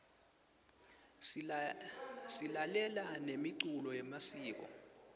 silalela nemiculo yemasiko